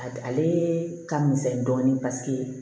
A ale ka misɛn dɔɔnin paseke